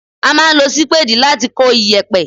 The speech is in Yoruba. A máa ń lo Sípéèdì láti kó iyẹ̀pẹ̀.